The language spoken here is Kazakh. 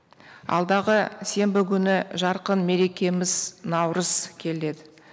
алдағы сенбі күні жарқын мерекеміз наурыз келеді